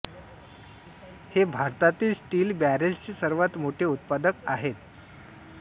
हे भारतातील स्टील बॅरेल्सचे सर्वात मोठे उत्पादक आहेत